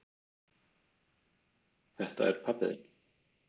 Þetta er pabbi þinn.